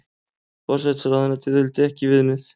Forsætisráðuneytið vildi ekki viðmið